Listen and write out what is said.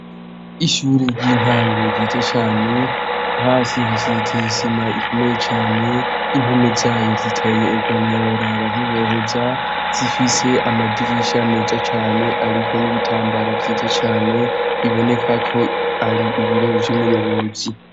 Ishure ryintango ryiza cane hasi hasize isima ikomeye cane impome zayo ziteye egomwe woraba ntiwoheza zifise amadirisha meza cane ariko nibitambara vyiza cane biboneka ko ari ibiro vyumuyobozi